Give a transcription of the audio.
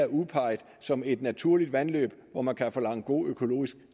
udpeget som et naturligt vandløb hvor man kan forlange en god økologisk